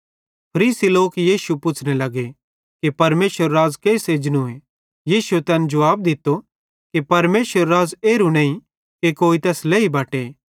फरीसी लोक यीशु पुच्छ़ने लगे कि परमेशरेरू राज़ केइस एजनूए यीशुए तैन जुवाब दित्तो कि परमेशरेरू राज़ एरू नईं कि कोई तैस लेई बटे